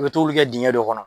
I bɛ tobili kɛ dingɛ de kɔnɔ.